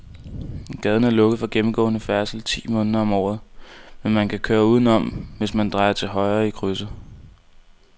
Gaden er lukket for gennemgående færdsel ti måneder om året, men man kan køre udenom, hvis man drejer til højre i krydset.